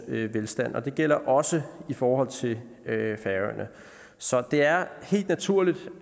velstand og det gælder også i forhold til færøerne så det er helt naturligt